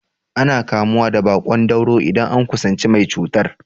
Ana kamuwa da baƙon dauro idan an kusanci mai cutar.